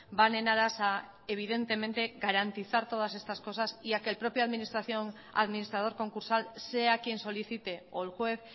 van en aras a evidentemente garantizar todas estas cosas ya que el propio administrador concursal sea quien solicite o el juez